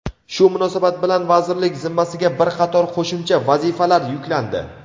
Shu munosabat bilan vazirlik zimmasiga bir qator qo‘shimcha vazifalar yuklandi.